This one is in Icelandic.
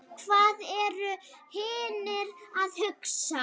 Hvað eru hinir að hugsa?